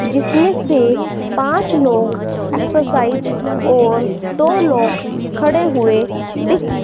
जिसमें से पांच लोग एक्सरसाइज और दो लोग खड़े हुए दिख--